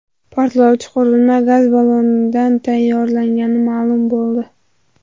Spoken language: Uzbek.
Portlovchi qurilma gaz ballondan tayyorlangani ma’lum bo‘ldi.